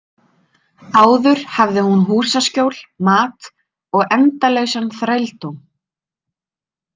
Áður hafði hún húsaskjól, mat og endalausan þrældóm.